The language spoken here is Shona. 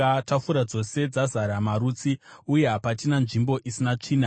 Tafura dzose dzazara marutsi uye hapachina nzvimbo isina tsvina.